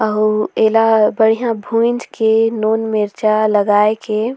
अऊ एला बढ़िया भूँज के नून मिरचा लगई के--